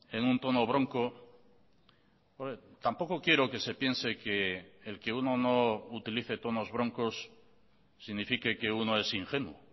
en un tono bronco tampoco quiero que se piense que el que uno no utilice tonos broncos signifique que uno es ingenuo